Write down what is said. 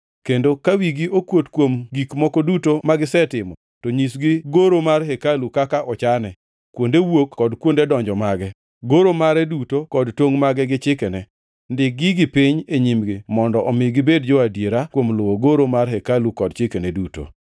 kendo ka wigi okuot kuom gik moko duto magisetimo, to nyisgi goro mar hekaluni kaka ochane, kuonde wuok kod kuonde donjo mage, goro mare duto kod tongʼ mage gi chikene. Ndik gigi piny e nyimgi mondo omi gibed jo-adiera kuom luwo goro mar hekalu kod chikene duto.